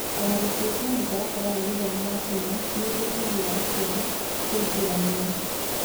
O na gũtuĩka mũtaratara wa gĩthomo wa Kenya nĩ ũtetagĩra aciari kwĩingĩrania.